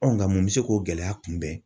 nka mun bɛ se k'o gɛlɛya kunbɛn.